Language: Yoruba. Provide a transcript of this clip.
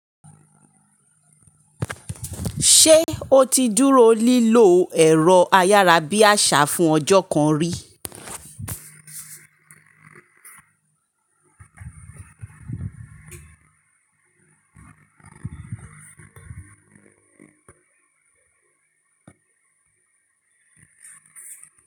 Ṣé ó ti dúró lílo ẹ̀rọ ayárabíàṣá fún ọjọ́ kan rí?